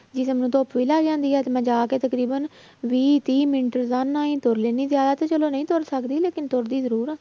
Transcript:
ਜਿਸ਼ਮ ਨੂੰ ਧੁੱਪ ਵੀ ਲੱਗ ਜਾਂਦੀ ਆ ਤੇ ਮੈਂ ਜਾ ਕੇ ਤਕਰੀਬਨ ਵੀਹ ਤੀਹ ਮਿੰਟ ਆਰਾਮ ਨਾਲ ਹੀ ਤੁਰ ਲੈਂਦੀ ਹਾਂ ਜ਼ਿਆਦਾ ਤੇ ਚਲੋ ਨਹੀਂ ਤੁਰ ਸਕਦੀ ਲੇਕਿੰਨ ਤੁਰਦੀ ਜ਼ਰੂਰ ਹਾਂ